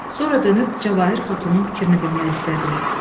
Sonra dönüb Cavahir Xatunun fikrini bilmək istədi.